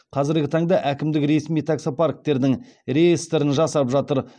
қазіргі таңда әкімдік ресми таксопарктердің реестрін жасап жатыр